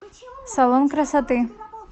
салон красоты